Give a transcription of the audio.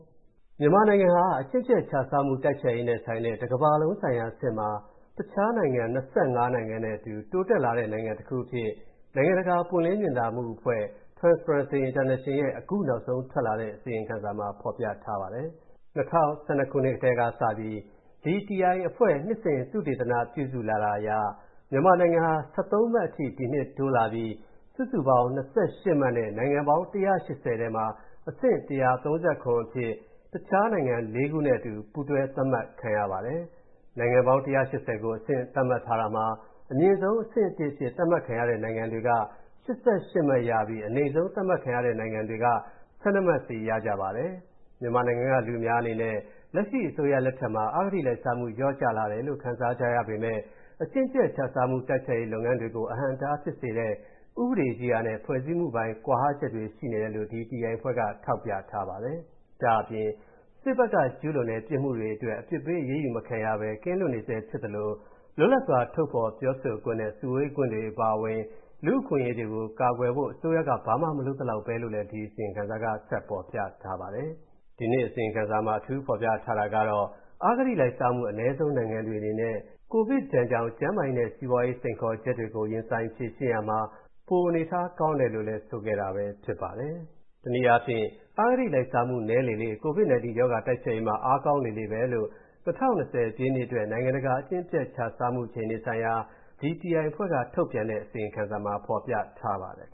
မြန်မာနိုင်ငံဟာ အကျင့်ပျက်ခြစားမှု တိုက်ဖျက်ရေးနဲ့ဆိုင်တဲ့ ကမ္ဘာလုံးဆိုင်ရာအဆင့်မှာ တခြားနိုင်ငံ ၂၅ နိုင်ငံနဲ့အတူ တိုးတက်လာတဲ့နိုင်ငံတခုအဖြစ် နိုင်ငံတကာ ပွင့်လင်းမြင်သာမှုအဖွဲ့ (Transparency International) ရဲ့ အခုနောက်ဆုံးထွက်လာတဲ့ အစီရင်ခံစာမှာ ဖော်ပြထားပါတယ်။ ၂၀၁၂ ခုနှစ်ကတည်းကစပြီး TI အဖွဲ့က နှစ်စဉ် သုတေသနပြုစုလာတာအရ မြန်မာနိုင်ငံဟာ ၁၃ မှတ်အထိ တိုးလာပြီး စုစုပေါင်း ၂၈ မှတ်နဲ့ နိုင်ငံပေါင်း ၁၈၀ ထဲမှာ အဆင့် ၁၃၇ အဖြစ် တခြားနိုင်ငံလေးခုနဲ့အတူ အတူပူးတွဲ သတ်မှတ်ခံရပါတယ်။ နိုင်ငံပေါင်း ၁၈၀ ကို အဆင့်သတ်မှတ်ထားတာမှာ အမြင့်ဆုံး အဆင့် ၁ အဖြစ် သတ်မှတ်ခံရတဲ့နိုင်ငံတွေက ၈၈ မှတ်ရပြီး အနိမ့်ဆုံး သတ်မှတ်ခံရတဲ့နိုင်ငံတွေက ၁၂ မှတ်စီရကြပါတယ်။ မြန်မာနိုင်ငံက လူအများအနေနဲ့ လက်ရှိအရပ်သားအစိုးရလက်ထက်မှာ အဂတိလိုက်စားမှုလျော့ကျလာတယ်လို့ ခံစားကြရပေမဲ့ အကျင့်ပျက်ခြစားမှု တိုက်ဖျက်ရေးလုပ်ငန်းတွေကို အဟန့်အတားဖြစ်စေတဲ့ ဥပဒေရေးရာနဲ့ ဖွဲ့စည်းမှုပိုင်း ကွာဟချက်တွေ ရှိနေတယ်လို့ TI အဖွဲ့က ထောက်ပြထားပါတယ်။ ဒါ့အပြင် စစ်ဘက်က ကျူးလွန်တဲ့ ပြစ်မှုတွေအတွက် အပြစ်ပေးအရေးယူမခံရဘဲ ကင်းလွတ်နေဆဲဖြစ်သလို လွတ်လပ်စွာ ထုတ်ဖော်ပြောဆိုခွင့်နဲ့ စုဝေးခွင့်တွေအပါအဝင် လူ့အခွင့်အရေးတွေကိုကာကွယ်ဖို့ အစိုးရက ဘာမှမလုပ်သလောက်ဘဲလို့လည်း အစီရင်ခံစာမှာဖော်ပြထားပါတယ်။ ဒီနှစ် အစီရင်ခံစာမှာ အထူးဖော်ပြထားတာကတော့ အဂတိလိုက်စားမှု အနည်းဆုံးနိုင်ငံတွေအနေနဲ့ ကိုဗစ်ဒဏ်ကြောင့် ကျန်းမာရေးနဲ့ စီးပွားရေး စိန်ခေါ်ချက်တွေကို ရင်ဆိုင်ဖြေရှင်းရာမှာ ပိုအနေအထားကောင်းတယ် ဆိုတာပဲဖြစ်ပါတယ်။ တနည်းအားဖြင့် အဂတိလိုက်စားမှု နည်းလေလေ၊ COVID-19 ရောဂါတိုက်ဖျက်ရေးမှာ အားကောင်းလေလေပဲလို့ ၂၀၂၀ ပြည့်နှစ်အတွက် နိုင်ငံတကာ အကျင့်ပျက်ခြစားမှုအခြေအနေဆိုင်ရာ TI အဖွဲ့က ထုတ်ပြန်တဲ့ အစီရင်ခံစာမှာ ဖော်ပြထားပါတယ်